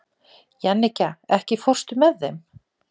Jannika, ekki fórstu með þeim?